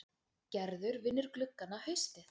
Gerður vinnur gluggana haustið